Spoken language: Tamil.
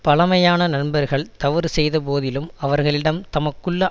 பழமையான நண்பர்கள் தவறு செய்த போதிலும் அவர்களிடம் தமக்குள்ள